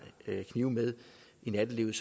knive med i nattelivet